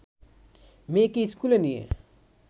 মেয়েকে স্কুলে নিয়ে